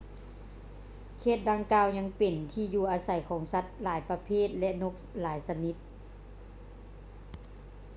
ເຂດດັ່ງກ່າວຍັງເປັນທີ່ຢູ່ອາໄສຂອງສັດຫຼາຍປະເພດ ແລະ ນົກຊະນິດຫຼາຍຊະນິດ